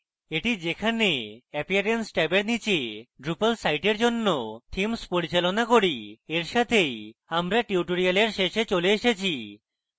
এটি যেখানে appearance ট্যাবের নীচে drupal সাইটের জন্য themes পরিচালনা করি এর সাথেই আমরা টিউটোরিয়ালের শেষে চলে এসেছি